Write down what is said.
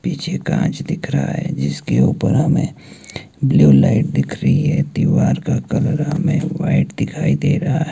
पीछे कांच दिख रहा है जिसके ऊपर हमें ब्लू लाइट दिख रही है दीवार का कलर में व्हाइट दिखाई दे रहा है।